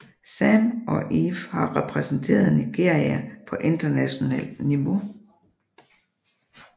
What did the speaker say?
Sam og Efe har repræsenteret Nigeria på internationalt niveau